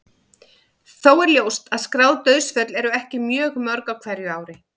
Þó er ljóst að skráð dauðsföll eru ekki mjög mörg á hverju ári.